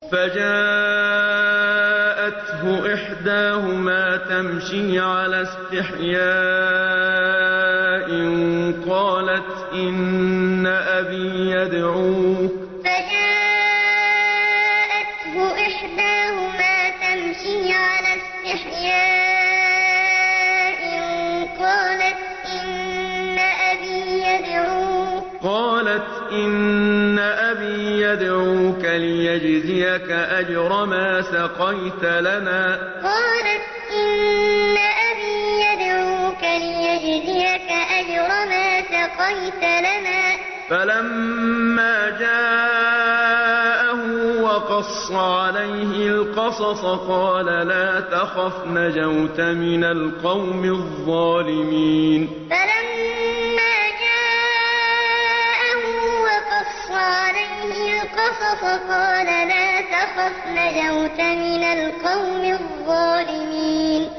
فَجَاءَتْهُ إِحْدَاهُمَا تَمْشِي عَلَى اسْتِحْيَاءٍ قَالَتْ إِنَّ أَبِي يَدْعُوكَ لِيَجْزِيَكَ أَجْرَ مَا سَقَيْتَ لَنَا ۚ فَلَمَّا جَاءَهُ وَقَصَّ عَلَيْهِ الْقَصَصَ قَالَ لَا تَخَفْ ۖ نَجَوْتَ مِنَ الْقَوْمِ الظَّالِمِينَ فَجَاءَتْهُ إِحْدَاهُمَا تَمْشِي عَلَى اسْتِحْيَاءٍ قَالَتْ إِنَّ أَبِي يَدْعُوكَ لِيَجْزِيَكَ أَجْرَ مَا سَقَيْتَ لَنَا ۚ فَلَمَّا جَاءَهُ وَقَصَّ عَلَيْهِ الْقَصَصَ قَالَ لَا تَخَفْ ۖ نَجَوْتَ مِنَ الْقَوْمِ الظَّالِمِينَ